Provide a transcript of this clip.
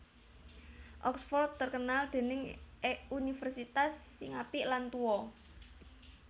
Oxford terkenal dening universitase sing apik lan tuo